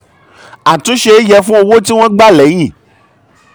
àtúnṣe yẹ fún owó tí wọ́n gbà lẹ́yìn.